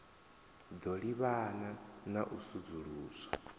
ḓo livhana na u sudzuluswa